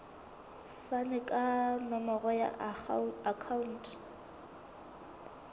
fane ka nomoro ya akhauntu